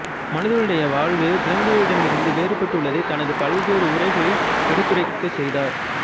மனிதனுடைய வாழ்வு விலங்குகளிடமிருந்து வேறுபட்டுள்ளதை தனது பல்வேறு உரைகளில் எடுத்துரைக்கச் செய்தார்